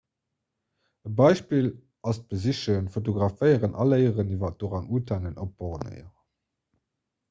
e beispill ass d'besichen fotograféieren a léieren iwwer orang-utanen op borneo